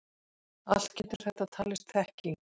Allt getur þetta talist þekking.